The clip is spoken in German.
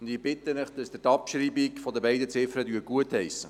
Ich bitte Sie, die Abschreibung der beiden Ziffern gutzuheissen.